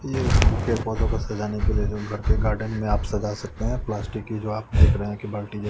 ये पेड़ पोधो को सजाने के लिए जो घर गार्डेन में आप सजा सकते हैं प्लास्टिक के जो आप देख रहे हैं बाल्टी--